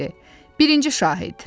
Birinci şahid.